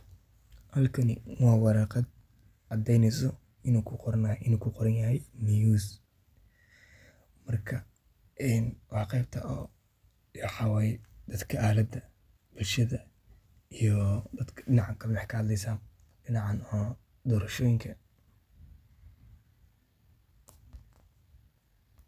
Horumarka degdegga ah ee baraha bulshada ayaa si weyn u beddelay habka ay dadka Soomaaliyeed, gaar ahaan dhalinyarada, uga qaybqaataan arrimaha siyaasadeed ee dalka. Baraha bulshada waxay noqdeen meel muhiim ah oo lagu faafiyo aragtiyo siyaasadeed, lagu dhaleeceeyo hoggaamiyeyaasha, loogana qaybgalo doodo furan oo xasaasi ah.